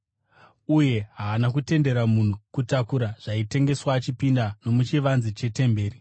uye haana kutendera munhu kutakura zvaitengeswa achipinda nomuchivanze chete mberi.